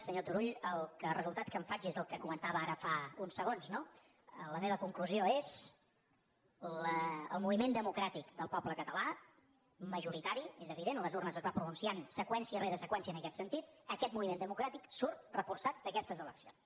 senyor turull del resultat el que en faig és el que comentava ara fa uns segons no la meva conclusió és el moviment democràtic del poble català majoritari és evident a les urnes es va pronunciant seqüència rere seqüència en aquest sentit aquest moviment democràtic surt reforçat d’aquestes eleccions